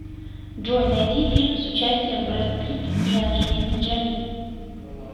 джой найди фильм с участием брэд питт и анджелиной джоли